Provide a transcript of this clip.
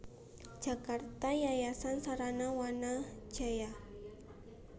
Jakarta Yayasan Sarana Wana Jaya